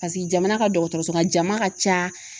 jamana ka dɔgɔtɔrɔsola jama ka ca